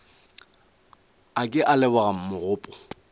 a ke a leboga mogopo